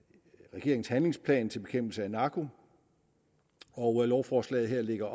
regeringens handlingsplan til bekæmpelse af narko og lovforslaget her lægger